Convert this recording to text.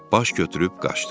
Baş götürüb qaçdım.